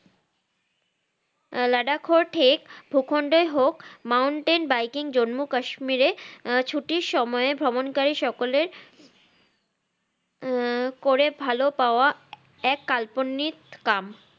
আহ লাদাখর ঠেক ভূখণ্ডের হোক Mounting biking জম্মু কাশ্মীরে আহ ছুটির সময়ে ভ্রমণকারীর সকলের আহ করে ভালো পাওয়া এক কাল্পনিক কাম